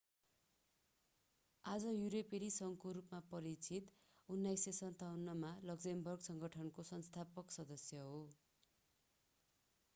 आज युरोपेली संघको रूपमा परिचित 1957 मा लक्जमबर्ग सङ्गठनको संस्थापक सदस्य हो